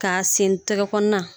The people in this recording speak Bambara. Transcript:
K'a sentɛgɛ kɔnɔna